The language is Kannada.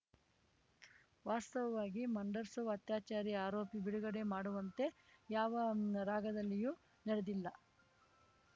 ವಾಸ್ತವವಾಗಿ ಮಂಡ್‌ಸರ್‌ ಅತ್ಯಾಚಾರಿ ಆರೋಪಿ ಬಿಡುಗಡೆ ಮಾಡುವಂತೆ ಯಾವ ರಾಗದಲ್ಲಿಯೂ ನಡೆದಿಲ್ಲ